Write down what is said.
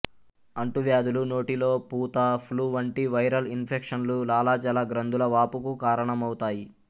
అంటువ్యాధులు నోటిలో పూత ఫ్లూ వంటి వైరల్ ఇన్ఫెక్షన్లు లాలాజల గ్రంథుల వాపుకు కారణమవుతాయి